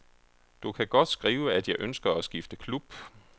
Du kan godt skrive, at jeg ønsker at skifte klub.